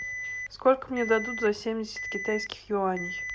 сколько мне дадут за семьдесят китайских юаней